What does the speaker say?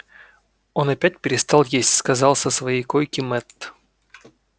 он опять перестал есть сказал со своей койки мэтт